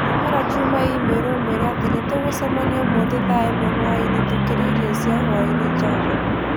Tũmĩra Juma i-mīrū ũmwĩre atĩ nĩtũgũcemania ũmũthĩ thaa ĩmwe hwaĩinĩ tũkĩrĩa irio cia hwaĩinĩ java